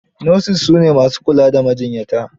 Nurses su ne ma su jkula da majiyyata.